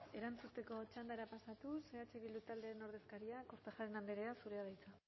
erantzuteko txandara pasatuz eh bildu taldearen ordezkaria kortajarena andrea zurea da hitza